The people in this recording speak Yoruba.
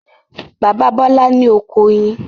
Bàbá Bọ́là ní oko oyin.